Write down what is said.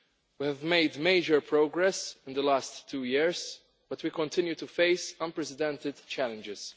We have made major progress in the last two years, but we continue to face unprecedented challenges.